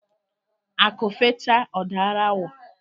Akụ fechaa ọ daara awọ.